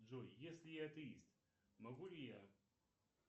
джой если я атеист могу ли я